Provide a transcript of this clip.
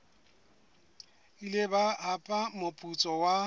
ile ba hapa moputso wa